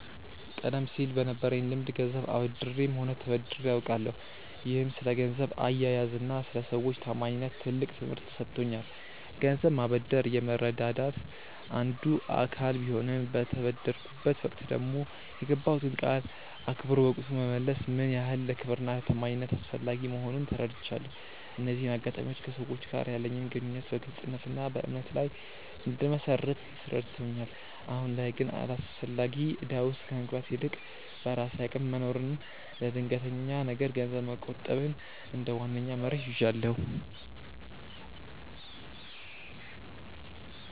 ቀደም ሲል በነበረኝ ልምድ ገንዘብ አበድሬም ሆነ ተበድሬ አውቃለሁ፤ ይህም ስለ ገንዘብ አያያዝና ስለ ሰዎች ታማኝነት ትልቅ ትምህርት ሰጥቶኛል። ገንዘብ ማበደር የመረዳዳት አንዱ አካል ቢሆንም፣ በተበደርኩበት ወቅት ደግሞ የገባሁትን ቃል አክብሮ በወቅቱ መመለስ ምን ያህል ለክብርና ለታማኝነት አስፈላጊ መሆኑን ተረድቻለሁ። እነዚህ አጋጣሚዎች ከሰዎች ጋር ያለኝን ግንኙነት በግልጽነትና በእምነት ላይ እንድመሰርት ረድተውኛል። አሁን ላይ ግን አላስፈላጊ እዳ ውስጥ ከመግባት ይልቅ፣ በራሴ አቅም መኖርንና ለድንገተኛ ነገር ገንዘብ መቆጠብን እንደ ዋነኛ መርህ ይዣለሁ።